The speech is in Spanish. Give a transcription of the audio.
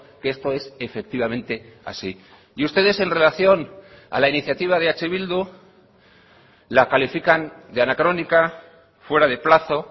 que esto es efectivamente así y ustedes en relación a la iniciativa de eh bildu la califican de anacrónica fuera de plazo